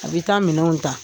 A bɛ taa minɛnw ta.